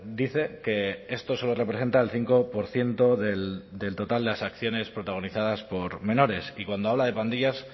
dice que esto solo representa el cinco por ciento del total de las acciones protagonizadas por menores y cuando habla de pandillas